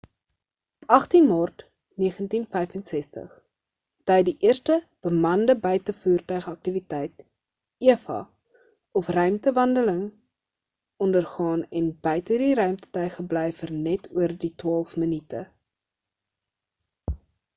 op 18 maart 1965 het hy die eerste bemande buitevoertuig aktiwiteit eva of ruimtewandeling” ondergaan en buite die ruimtetuig gebly vir net oor die twaalf minute